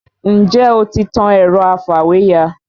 Ǹjẹ́ o ti tan ẹ̀rọ afàwéya?